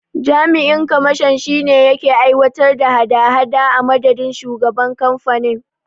Jami'in kamashon shine yake aiwatar da hada hada a madadin shugaban kamfanin.